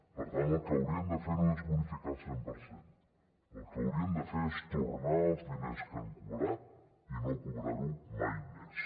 per tant el que haurien de fer no és bonificar el cent per cent el que haurien de fer és tornar els diners que han cobrat i no cobrar ho mai més